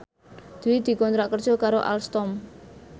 Dwi dikontrak kerja karo Alstom